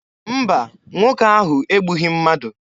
Mba, nwoke ahụ egbughị mmadụ.